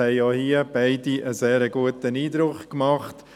Es haben auch hier beide einen sehr guten Eindruck gemacht.